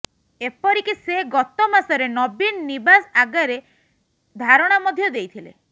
ଏପରିକି ସେ ଗତ ମାସରେ ନବୀନ ନିବାସ ଆଗରେ ଧାରଣା ମଧ୍ୟ ଦେଇଥିଲେ